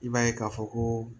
I b'a ye k'a fɔ ko